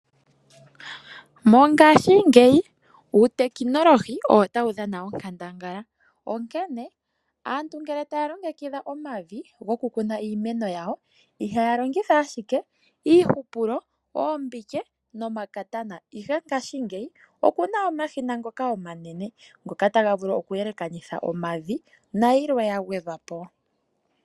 Mongashingeyi uutekinolohi owo tawu dhana onkandangala, onkene aantu ngele taya longekidha omavi goku kuna iimeno yawo ihaya longitha ashike iihupulo, oombike nomakatana, ihe ngashingeyi oku na omashina ngoka omanene, ngoka ta ga vulu okeyekanitha omavi, nayilwe yagwedhwa po.